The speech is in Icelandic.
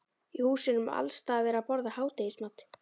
Í húsunum er alls staðar verið að borða hádegismat.